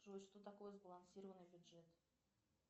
джой что такое сбалансированный бюджет